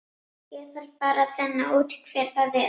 Ég þarf bara að finna út hver það er.